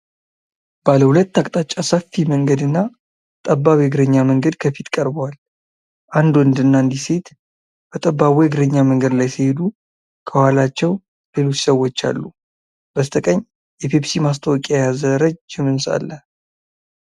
ባለ ሁለት አቅጣጫ ሰፊ መንገድና ጠባብ የእግረኛ መንገድ ከፊት ቀርበዋል። አንድ ወንድና አንዲት ሴት በጠባቡ የእግረኛ መንገድ ላይ ሲሄዱ፣ ከኋላቸው ሌሎች ሰዎች አሉ። በስተቀኝ የፔፕሲ ማስታወቂያ የያዘ ረጅም ህንፃ አለ።